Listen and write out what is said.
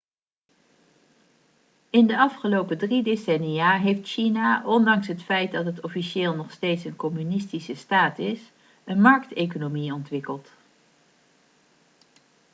in de afgelopen drie decennia heeft china ondanks het feit dat het officieel nog steeds een communistische staat is een markteconomie ontwikkeld